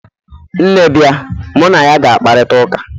nne bia, mu na ya ga-akparita ụka?